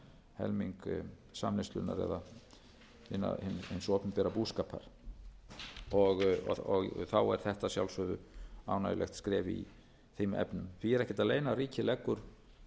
helming samneyslunnar eða hins opinbera búskapar þá er þetta að sjálfsögðu ánægjulegt skref í þeim efnum því er ekkert að leyna að ríkið leggur